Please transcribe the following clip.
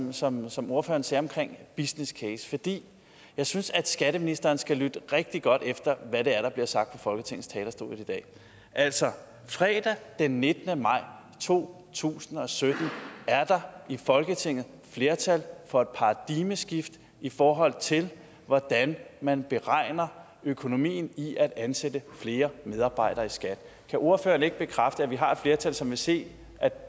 som som ordføreren sagde omkring business case fordi jeg synes at skatteministeren skal lytte rigtig godt efter hvad det er der bliver sagt fra folketingets talerstol i dag altså fredag den nittende maj to tusind og sytten er der i folketinget flertal for et paradigmeskifte i forhold til hvordan man beregner økonomien i at ansætte flere medarbejdere i skat kan ordføreren ikke bekræfte at vi har et flertal som vil se